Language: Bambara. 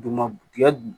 Duguma tigɛ nunnu